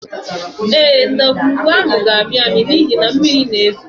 Ee, ndagwurugwu ahụ ga-amị amị n’ihi na mmiri na-ezo